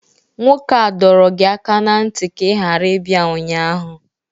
Nwoke a dọrọ gi aka na ntị ka ị ghara ibia ụnyaahụ!